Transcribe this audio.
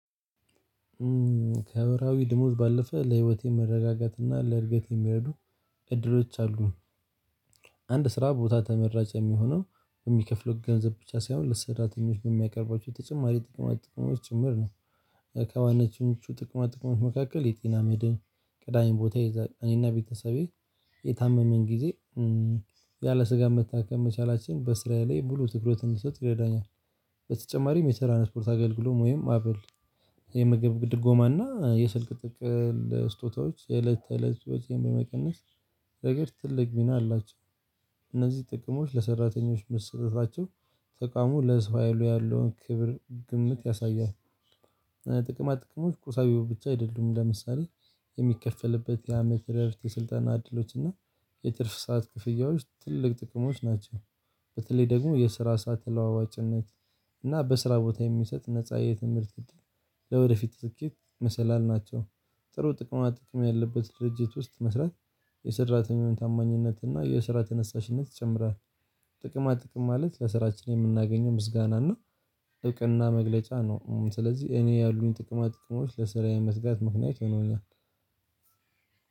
ከማህብራዊ ድምዝ ባለፈ ለህይወቴ መረጋጋትና ለእድገት የሚረዱ እድሮች አሉ። አንድ ስራ ቦታ ተመራጭ የሚሆነው የሚከፍለው ገንዘብ ብቻ ሳይሆን ለስራተኞች ነው የሚያቀርቧቸው ተጨማሪ ጥቅማት ጥቅሞች ጭምር ነው። ከዋናኞቹ ጥቅማ ጥቅሞች መካከል የጤና መድህን ቀዳሚ ቦታ ይይዛል። እኔና ቤተሰቤ የታመምን ጊዜ ያለ ስጋት መታከም መቻላችን ስራየ ላይ ሙሉ ትኩረት እንድሰጥ ይረዳኛል። በተጨማሪ የትራንስፖርት አገልግሎት ወይም አበል የመገብ ድጎማና የስልክ ጥቅል ስጦታዎች የእለት ተእለት ወጪን በመቀነስ ነገር ትልቅ ሚና አላቸው። እነዚህ ጥቅሞች ለሰራተኞች መሰጠታቸው ተቋሙ ለህዝብ ሀይሉ ያለውን ክብር ግምት ያሳያል። ጥቅማጥቅሞች ቁሳዊ ብቻ አይደሉም። ለምሳሌ የሚከፈልበት የአመት እረፍት፣ የስልጠና እድሎች፣ እና የትርፍ ሰዓት ክፍያዎች ትልቅ ጥቅሞች ናቸው። በተለይ ደግሞ የስራ ሰዓት ተለዋዋጭነት እና በስራ ቦታ የሚሰጥ ነፃ የትምህርት እድል ለወደፊት ስኬት መሰላል ናቸው። ጥሩ ጥቅማ ጥቅም ያለበት ድርጅት ውስጥ መስራት የሰራተኛውን ታማኝነት እና የስራ ተነሳሽነት ይጨምራል። ጥቅማ ጥቅም ማለት ለስራችን የምናገኘው ምስጋና እና እውቅና መግለጫ ነው። ስለዚህ እኔ ያሉኝ ጥቅማ ጥቅሞች ለስራዬ መትጋት ምክንያት ይሆነኛል።